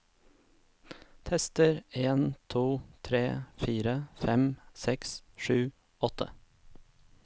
Tester en to tre fire fem seks sju åtte